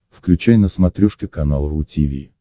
включай на смотрешке канал ру ти ви